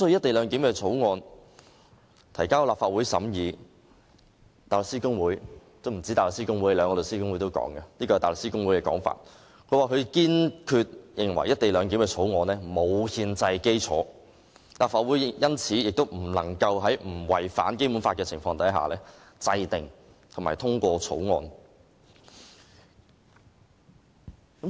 大律師公會及香港律師會分別就《條例草案》提交意見，前者堅決認為《條例草案》沒有憲制基礎，立法會亦因此不能在不違反《基本法》的情況下制定及通過《條例草案》。